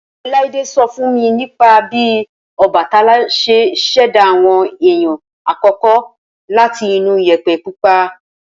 Olaide so fún mi nípa bí Ọbàtálá ṣẹ́ ṣẹ̀dá àwọn èèyàn àkọ́kọ́ láti inú Iyẹ̀pẹ̀ pupa.